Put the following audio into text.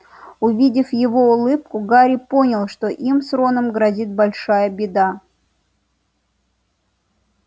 увидев его улыбку гарри понял что им с роном грозит большая беда